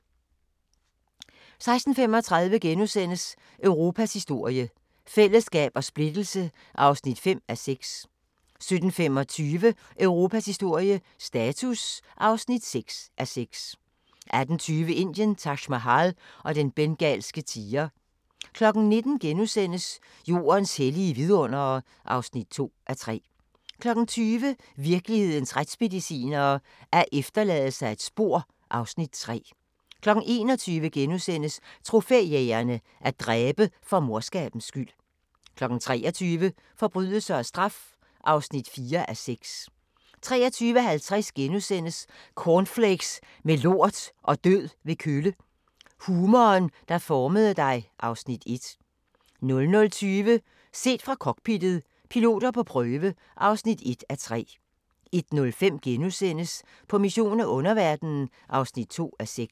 16:35: Europas historie – fællesskab og splittelse (5:6)* 17:25: Europas historie – status (6:6) 18:20: Indien – Taj Mahal og den bengalske tiger 19:00: Jordens hellige vidundere (2:3)* 20:00: Virkelighedens retsmedicinere: Alt efterlader sig et spor (Afs. 3) 21:00: Trofæjægerne – at dræbe for morskabens skyld * 23:00: Forbrydelse og straf (4:6) 23:50: Cornflakes med lort og død ved kølle – humoren, der formede dig (Afs. 1)* 00:20: Set fra cockpittet – piloter på prøve (1:3) 01:05: På mission i underverdenen (2:6)*